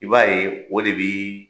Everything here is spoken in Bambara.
I b'a ye o de bi